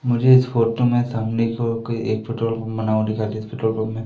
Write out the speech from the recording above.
मुझे इस फोटो में सामने की ओर एक पेट्रोल पंप बना हुआ दिखाई दे इस पेट्रोल पंप में--